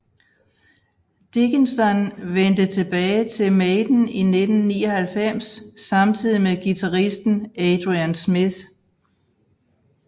Dickinson vendte tilbage til Maiden i 1999 samtidig med guitaristen Adrian Smith